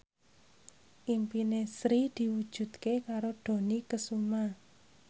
impine Sri diwujudke karo Dony Kesuma